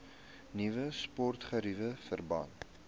nuwe sportgeriewe verband